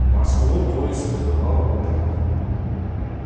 в москву поезд прибывал утром